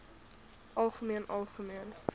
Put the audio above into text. algemeen algemeen